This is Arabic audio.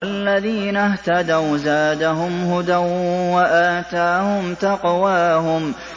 وَالَّذِينَ اهْتَدَوْا زَادَهُمْ هُدًى وَآتَاهُمْ تَقْوَاهُمْ